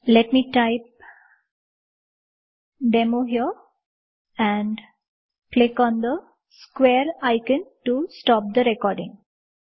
late me type demo here and click on the square icon to stop the recording